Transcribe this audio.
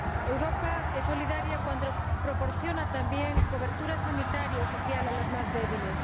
Europa es solidaria cuando proporciona también cobertura sanitaria y social a los más débiles.